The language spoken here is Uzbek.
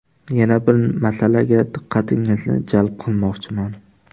Yana bir masalaga diqqatingizni jalb qilmoqchiman.